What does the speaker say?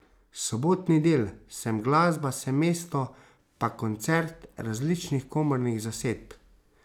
Sobotni del, Sem glasba, sem mesto, pa koncert različnih komornih zasedb.